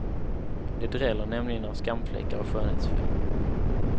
Det dräller nämligen av skamfläckar och skönhetsfel.